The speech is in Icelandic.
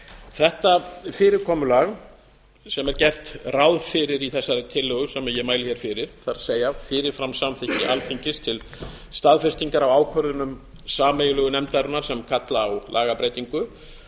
þetta fyrirkomulag sem er gert ráð fyrir í þessari tillögu sem ég mæli hér fyrir það er fyrirframsamþykki alþingis til staðfestingar á ákvörðunum sameiginlegu nefndarinnar sem kalla á lagabreytingu